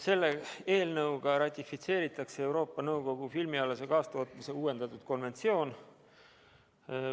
Selle eelnõuga ratifitseeritakse Euroopa Nõukogu filmialase kaastootmise uuendatud konventsioon.